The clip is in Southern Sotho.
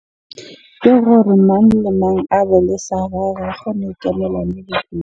Gore mang le mang a be le sa gagwe hore a kgone ho ikemela .